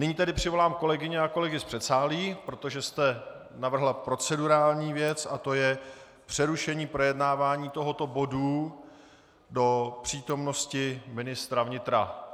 Nyní tedy přivolám kolegyně a kolegy z předsálí, protože jste navrhla procedurální věc, a to je přerušení projednávání tohoto bodu do přítomnosti ministra vnitra.